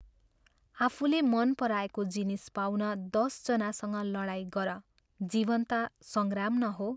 आफूले मन पराएको जिनिस पाउन दश जनासँग लडाईं गर जीवन ता संग्राम न हो।